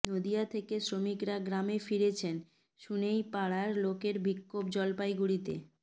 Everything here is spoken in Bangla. নদিয়া থেকে শ্রমিকরা গ্রামে ফিরেছেন শুনেই পাড়ার লোকের বিক্ষোভ জলপাইগুড়িতে